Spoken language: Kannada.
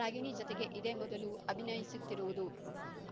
ರಾಗಿಣಿ ಜತೆಗೆ ಇದೇ ಮೊದಲು ಅಭಿನಯಿಸುತ್ತಿರುವುದು